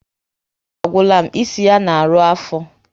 Ike ịnwụ ọgwụ agwụla m, isi ya na arụ afọ